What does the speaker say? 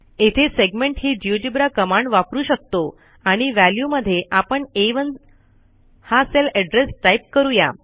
येथे सेगमेंट ही GeoGebra command वापरू शकतो आणि व्हॅल्यू मध्ये आपणA1 हा सेल एड्रेस टाईप करू या